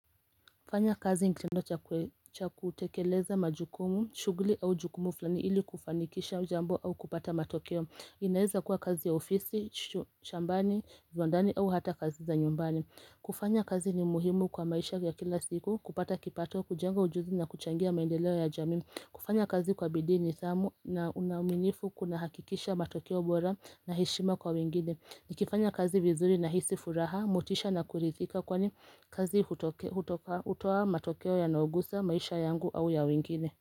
Kufanya kazi ni kitendo cha cha kutekeleza majukumu, shughuli au jukumu fulani ili kufanikisha jambo au kupata matokeo. Inaeza kuwa kazi ya ofisi, shambani, viwandani au hata kazi za nyumbani. Kufanya kazi ni muhimu kwa maisha ya kila siku, kupata kipato, kujenga ujuzi na kuchangia maendeleo ya jamii kufanya kazi kwa bidii nidhamu na uaminifu kunahakikisha matokeo bora na heshima kwa wengine. Nikifanya kazi vizuri, nahisi furaha, motisha na kuridhika kwani kazi hutoa matokeo yanayogusa maisha yangu au ya wengine.